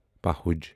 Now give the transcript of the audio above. پہُج